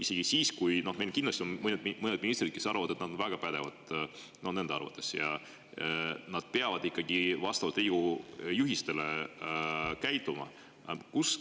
Meil on küll kindlasti mõned ministrid, kes on enda arvates väga pädevad, aga nad peavad ikkagi käituma vastavalt Riigikogu juhistele.